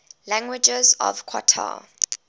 languages of qatar